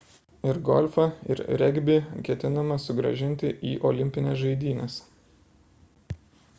ir golfą ir regbį ketinama sugrąžinti į olimpines žaidynes